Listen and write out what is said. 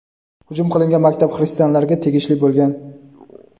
hujum qilingan maktab xristianlarga tegishli bo‘lgan.